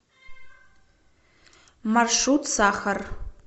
маршрут сахар